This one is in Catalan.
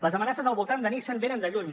les amenaces al voltant de nissan venen de lluny